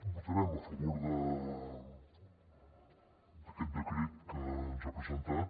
votarem a favor d’aquest decret que ens ha presentat